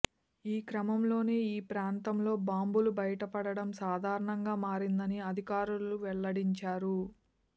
ఈ క్రమంలోనే ఈ ప్రాంతంలో బాంబులు బయటపడడం సాధారణంగా మారిందని అధికారులు వెల్లడించారు